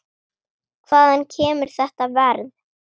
Hvaðan kemur þetta verð?